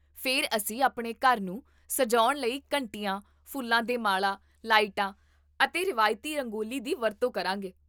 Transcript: ਫਿਰ ਅਸੀਂ ਆਪਣੇ ਘਰ ਨੂੰ ਸਜਾਉਣ ਲਈ ਘੰਟੀਆਂ, ਫੁੱਲਾਂ ਦੇ ਮਾਲਾ, ਲਾਈਟਾਂ ਅਤੇ ਰਵਾਇਤੀ ਰੰਗੋਲੀ ਦੀ ਵਰਤੋਂ ਕਰਾਂਗੇ